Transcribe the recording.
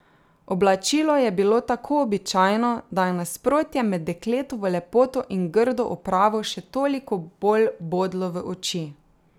Oblačilo je bilo tako običajno, da je nasprotje med dekletovo lepoto in grdo opravo še toliko bolj bodlo v oči.